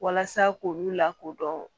Walasa k'olu lakodɔn